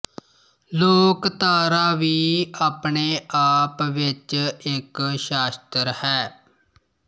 ਲੋਕਧਾਰਾ ਵੀ ਆਪਣੇ ਆਪ ਵਿੱਚ ਇਕ ਸ਼ਾਸ਼ਤਰ ਹੈ